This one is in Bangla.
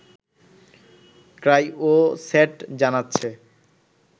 ক্রাইয়োস্যাট জানাচ্ছে